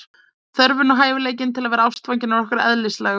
þörfin og hæfileikinn til að vera ástfangin er okkur eðlislægur